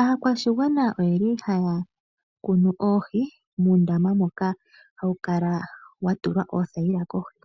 Aakwashigwana ohaya kunu oohi muundama mboka hamu kala mwa tulwa uuthayila kohi.